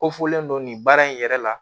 Ko fɔlen don nin baara in yɛrɛ la